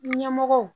Ɲɛmɔgɔw